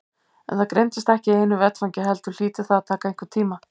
En það gerist ekki í einu vetfangi heldur hlýtur það að taka einhvern tíma.